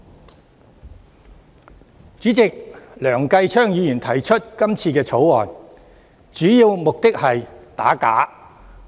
代理主席，梁繼昌議員提出這項《條例草案》，主要目的是想打假。